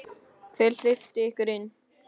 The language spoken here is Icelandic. Hver hleypti ykkur inn?